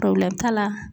t'a la